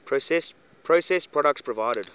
processed products provided